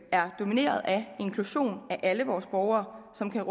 er domineret af inklusion af alle vores borgere som kan